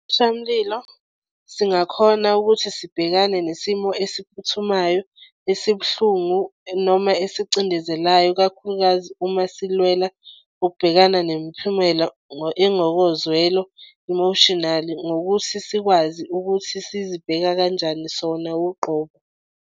singakhona ukuthi sibhekane nesimo esiphuthumayo esibuhlungu noma esicindezelayo ikakhulukazi uma silwela ukubhekana nemiphumelo engokozwelo emotionally ngokuthi sikwazi ukuthi sizibheka kanjani sona uqobo.